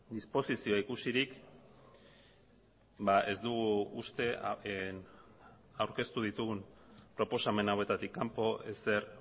disposizioa ikusirik ez dugu uste aurkeztu ditugun proposamen hauetatik kanpo ezer